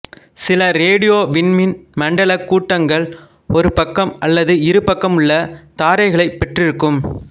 சில ரேடியோ விண்மீன் மண்டலக் கூட்டங்கள் ஒரு பக்கம் அல்லது இரு பக்கமுள்ள தாரைகளைப் பெற்றிருக்கும்